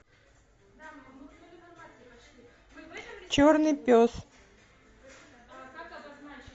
черный пес